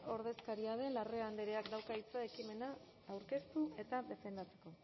ordezkaria den larrea andreak dauka hitza ekimena aurkeztu eta defendatzeko